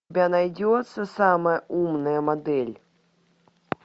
у тебя найдется самая умная модель